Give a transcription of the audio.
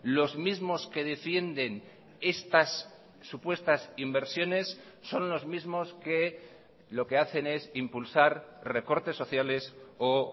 los mismos que defienden estas supuestas inversiones son los mismos que lo que hacen es impulsar recortes sociales o